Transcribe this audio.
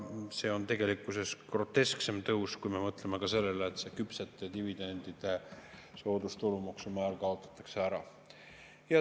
See on tegelikkuses grotesksem tõus, kui me mõtleme ka sellele, et küpsete dividendide soodustulumaksumäär kaotatakse ära.